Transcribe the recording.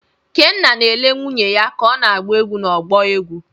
Kenna na-ele nwunye ya ka ọ na-agba egwú n'ọgbọ egwu.